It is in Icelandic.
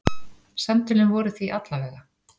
Samtölin voru því alla vega.